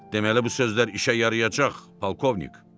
deməli bu sözlər işə yarayacaq, polkovnik.